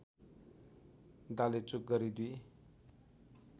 डालेचुक गरी दुई